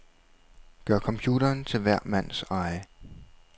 Gør computeren til hver mands eje.